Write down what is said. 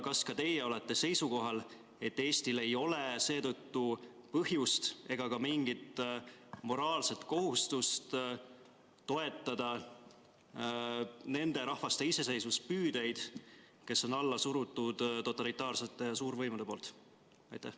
Kas ka teie olete seisukohal, et Eestil ei ole seetõttu põhjust ega ka mingit moraalset kohustust toetada nende rahvaste iseseisvuspüüdeid, keda totalitaarsete suuriikide võimud alla suruvad?